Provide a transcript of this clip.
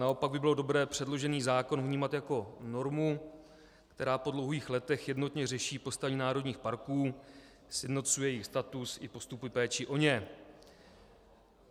Naopak by bylo dobré předložený zákon vnímat jako normu, která po dlouhých letech jednotně řeší postavení národních parků, sjednocuje jejich status i postupy péče o ně.